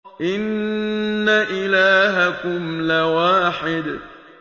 إِنَّ إِلَٰهَكُمْ لَوَاحِدٌ